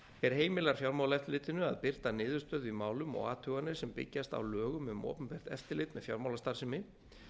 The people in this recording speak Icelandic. er heimilar fjármálaeftirlitinu að birta niðurstöðu í málum og athuganir sem byggjast á lögum um opinbert eftirlit með fjármálastarfsemi